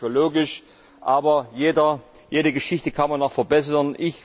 Das halte ich nicht für logisch, aber jede Geschichte kann man noch verbessern.